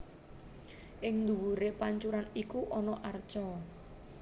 Ing duwuré pancuran iku ana arca